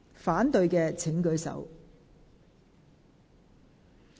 反對的請舉手。